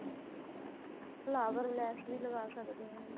flower ਲੈਸ ਵੀ ਲਗਾ ਸਕਦੇ ਹਾਂ